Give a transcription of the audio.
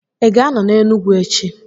Ị ga-anọ n'Enugwu echi?